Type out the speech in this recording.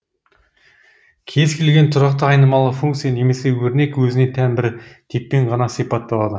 кез келген тұрақты айнымалы функция немесе өрнек өзіне тән бір типпен ғана сипатталады